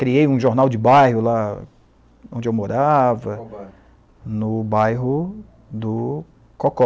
Criei um jornal de bairro lá onde eu morava. Qual bairro? No bairro do Cocó.